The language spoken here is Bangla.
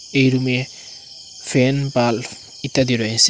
এই রুমে ফ্যান বাল্ব ইত্যাদি রয়েসে।